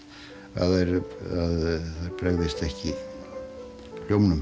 að þær bregðist ekki hljómnum